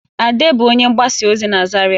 Ade bụ onye mgbasa ozi na Zaria